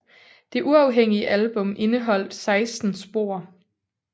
Det uafhængige album indeholdt 16 spor